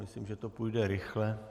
Myslím, že to půjde rychle.